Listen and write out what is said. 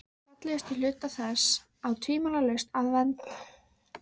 Fallegustu hluta þess á tvímælalaust að vernda.